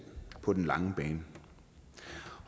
på den lange bane